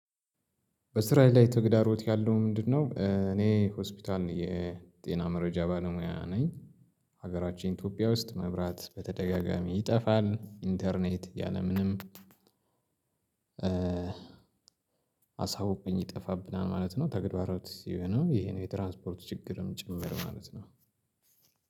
በስራዬ ላይ ተግዳሮት ያለው ምንድነው እኔ ሆስፒታል የጤና መረጃ ባለሙያ ነኝ። ሀገራችን ኢትዮጵያ ውስጥ መብራት በተደጋጋሚ ይጠፋል ኢንተርኔት ያለምንም አሳውቆኝ ይጠፋብናል ማለት ነው። ተግባራት ይሄ ነው የትራንስፖርት ችግርም ጭምር ማለት ነው።